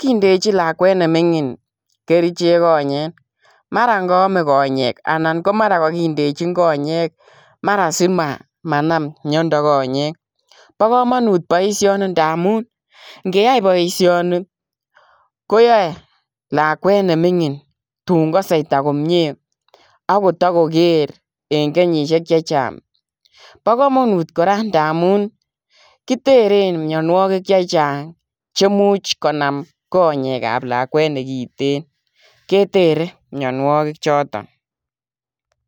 kindochiin lakwet ne mingiin kercheek konyeek mara kaame konyeek anan mara kagindejiin konyeek mara simanam miandaa konyeek, bo kamanut boisioni ndamuun neyai boisioni ko yae lakwet ne mingiin tuun kase kameet komyei ago takokeer eng kenyisiek chechaang bo kamanut kora ndamuun kitereen mianwagik che chaang chemuchei konam konyeek ab lakwet nekiteen ketere mianwagik chotoon.